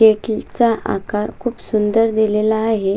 Cake चा आकार खुप सुंदर दिलेला आहे.